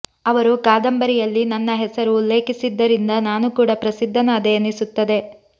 ಅವರು ಕಾದಂಬರಿಯಲ್ಲಿ ನನ್ನ ಹೆಸರು ಉಲ್ಲೇಖಿಸಿದ್ದರಿಂದ ನಾನು ಕೂಡ ಪ್ರಸಿದ್ಧನಾದೆ ಎನಿಸುತ್ತದೆ